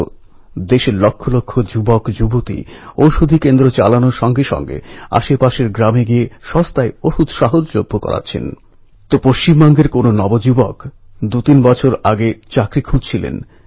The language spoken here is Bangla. ১লা আগষ্ট ১৯২০ লোকমান্য তিলকজীর মৃত্যু হওয়ার সঙ্গে সঙ্গেই সর্দার বল্লভভাই প্যাটেল সিদ্ধান্ত নিয়েছিলেন আমেদাবাদে তাঁর স্মারক মূর্তি প্রতিষ্ঠা করতেই হবে